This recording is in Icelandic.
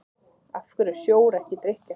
af hverju er sjór ekki drykkjarhæfur